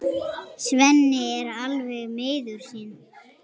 Svenni er alveg miður sín.